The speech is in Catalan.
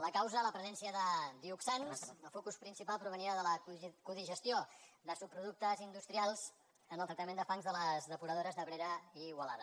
la causa la presència de dioxans el focus principal provenia de la codigestió de subproductes industrials en el tractament de fangs de les depuradores d’abrera i igualada